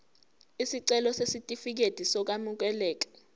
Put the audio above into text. isicelo sesitifikedi sokwamukeleka